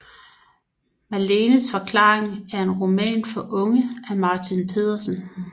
Malenes forklaring er en roman for unge af Martin Petersen